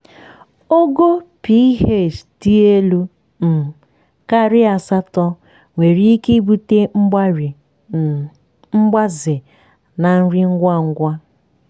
ogo ph dị elu um karịa asatọ nwere ike ibute mgbari um mgbaze na nri ngwa ngwa. um